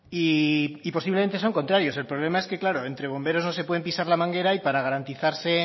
y posiblemente son contrarios el problema es que claro entre bomberos no se pueden pisar la manguera y para garantizarse